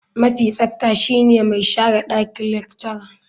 Mafi tsafta shine mai share dakin lecturer.